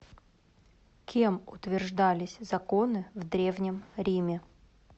кем утверждались законы в древнем риме